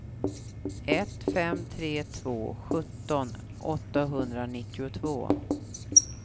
ett fem tre två sjutton åttahundranittiotvå